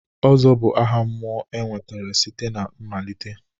Ozo bụ aha mmụọ e nwetara site na mmalite.